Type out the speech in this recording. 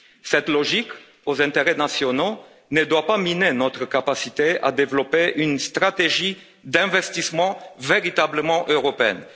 Cette logique favorable aux intérêts nationaux ne doit pas miner notre capacité à développer une stratégie d'investissement véritablement européenne.